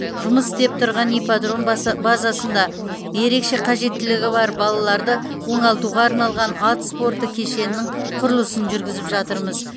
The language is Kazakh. жұмыс істеп тұрған ипподром баса базасында ерекше қажеттілігі бар балаларды оңалтуға арналған ат спорты кешенінің құрылысын жүргізіп жатырмыз